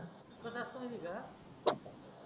कस असतो माहीत आहे का